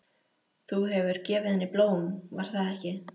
Þú hefur gefið henni blóm, var það ekki?